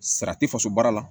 Sara tɛ faso baara la